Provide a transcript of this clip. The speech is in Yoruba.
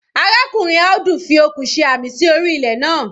Arákùnrin Audu fi okùn ṣe àmì sí orí ilẹ̀ naa.